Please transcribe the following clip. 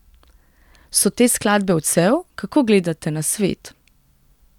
So te skladbe odsev, kako gledate na svet?